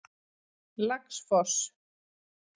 Laxfoss